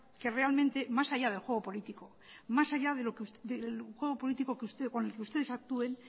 que realmente más allá del juego político más allá del juego político con el que ustedes actúen